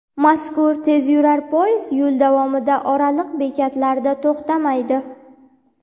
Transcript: Mazkur tezyurar poyezd yo‘l davomida oraliq bekatlarda to‘xtamaydi.